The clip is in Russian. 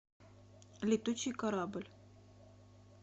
летучий корабль